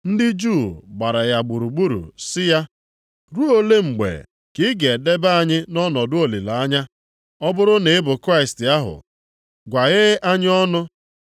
Ndị Juu gbara ya gburugburu sị ya, “Ruo ole mgbe ka ị ga-edebe anyị nʼọnọdụ olileanya? Ọ bụrụ na ị bụ Kraịst ahụ, gwaghee anyị ọnụ.”